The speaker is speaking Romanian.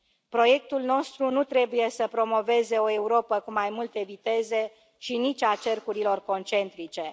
Proiectul nostru nu trebuie să promoveze o Europă cu mai multe viteze și nici a cercurilor concentrice.